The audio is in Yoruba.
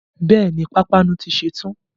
Bẹ́ẹ̀ni, pápánu ti ṣe tán